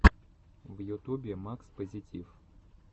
в ютубе макс позитив